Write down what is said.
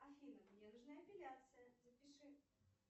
афина мне нужна эпиляция запиши